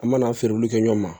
An mana feere olu kɛ ɲɔgɔn ma